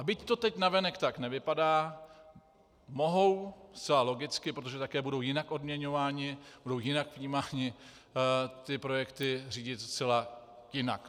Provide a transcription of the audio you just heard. A byť to teď navenek tak nevypadá, mohou - zcela logicky, protože také budou jinak odměňováni, budou jinak vnímáni - ty projekty řídit zcela jinak.